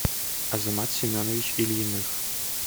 азамат семенович ильиных